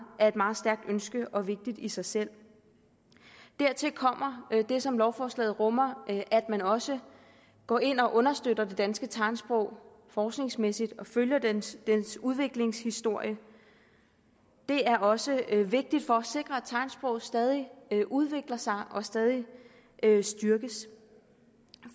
er et meget stærkt ønske og vigtigt i sig selv dertil kommer det som lovforslaget rummer nemlig at man også går ind og understøtter det danske tegnsprog forskningsmæssigt og følger dets udviklingshistorie det er også vigtigt for at sikre at tegnsproget stadig udvikler sig og stadig styrkes